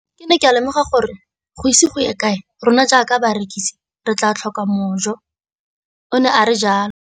Ke ne ka lemoga gore go ise go ye kae rona jaaka barekise re tla tlhoka mojo, o ne a re jalo.